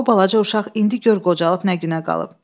O balaca uşaq indi gör qocalıb nə günə qalıb.